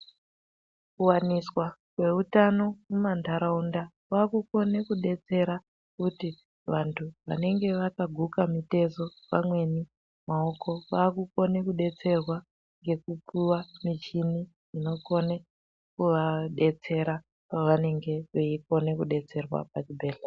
Kuwaniswa kweutano mumandaraunda kwakukone kudetsera kuti vantu vanenge vakaguka mitezo pamweni maoko vakukone kudetserwa ngekupuwa michini inokone kuvadetsera pavanenge veikone kudetserwa pachibhedhlera.